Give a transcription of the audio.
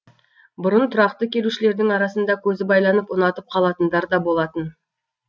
бұрын тұрақты келушілердің арасында көзі байланып ұнатып қалатындар да болатын